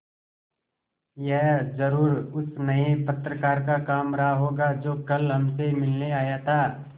यह ज़रूर उस नये पत्रकार का काम रहा होगा जो कल हमसे मिलने आया था